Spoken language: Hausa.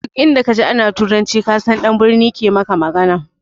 Duk inda ka ji ana turanci ka san ɗan birni ke maka magana